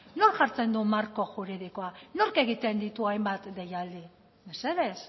nork jartzen du marko juridikoa nork egiten ditu hainbat deialdi mesedez